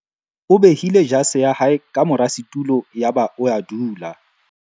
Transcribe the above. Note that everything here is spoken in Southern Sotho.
O behile jase ya hae ka mora setulo yaba o a dula.